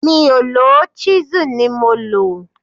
Mi ò lò ó, ṣísù ni mo lò